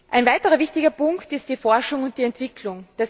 Ein weiterer wichtiger Punkt ist die Forschung und Entwicklung.